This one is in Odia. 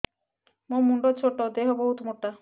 ମୋ ମୁଣ୍ଡ ଛୋଟ ଏଵଂ ଦେହ ବହୁତ ମୋଟା